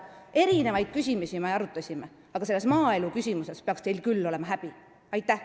Me arutasime mitmesuguseid küsimusi, aga maaeluküsimuste tõttu peaks teil küll häbi olema.